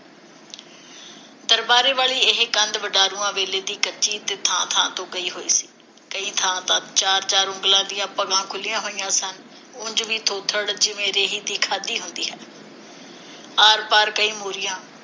ਦਰਬਾਰੇ ਵਾਲੀ ਇਹ ਕੰਧ ਵਡਾਰੂਆਂ ਵੇਲੇ ਦੀ ਕੱਚੀ ਤੇ ਥਾਂ-ਥਾਂ ਤੋਂ ਗਈ ਹੋਈ ਸੀ। ਕਈ ਥਾਂ ਚਾਰ ਚਾਰ ਉਂਗਲਾਂ ਦੀਆਂ ਭਗਾਂ ਖੁਲ੍ਹੀਆਂ ਹੋਈਆਂ ਸਨ। ਉਂਝ ਦੀ ਥੋਬੜ, ਜਿਵੇਂ ਰੇਹੀ ਦੀ ਖਾਧੀ ਹੁੰਦੀ ਹੈ। ਆਰ ਪਾਰ ਕਈ ਮੋਰੀਆਂ।